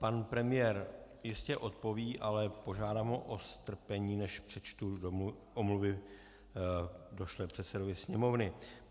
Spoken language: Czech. Pan premiér jistě odpoví, ale požádám ho o strpení, než přečtu omluvy došlé předsedovi Sněmovny.